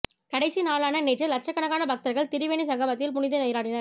கடைசி நாளான நேற்று லட்சக்கணக்கான பக்தர்கள் திரிவேணி சங்கமத்தில் புனித நீராடினர்